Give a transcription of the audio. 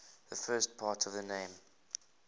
the first part of the name